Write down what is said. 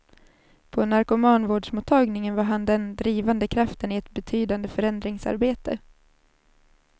På narkomanvårdsmottagningen var han den drivande kraften i ett betydande förändringsarbete.